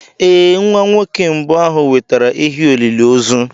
Ee, Nwa nwoke mbụ ahụ wetara ehi olili ozu.